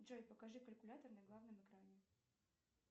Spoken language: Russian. джой покажи калькулятор на главном экране